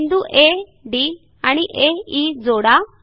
बिंदू A D आणि A E जोडा